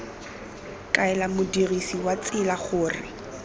kaela modirisi wa tsela gore